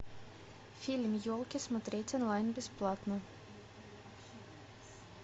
фильм елки смотреть онлайн бесплатно